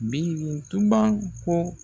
Birintuban ko.